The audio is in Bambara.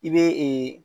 I bɛ